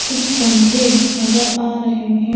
कुछ पंखे नजर आ रहे हैं।